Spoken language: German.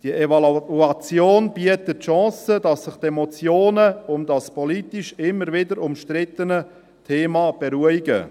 Diese Evaluation bietet die Chance, dass sich die Emotionen um das politisch immer wieder umstrittene Thema beruhigen.